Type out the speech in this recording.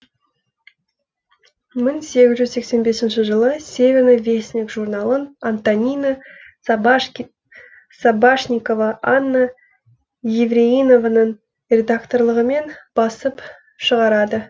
мың сегіз жүз сексен бесінші жылы северный вестник журналын антонина сабашникова анна евреинованың редакторлығымен басып шығарады